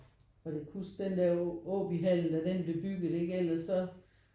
Og kan du ikke huske den der Aabyhallen da den blev bygget ellers så